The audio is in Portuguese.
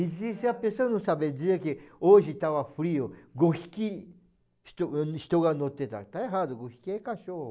E se a pessoa não sabe dizer que hoje estava frio, está errado, é cachorro.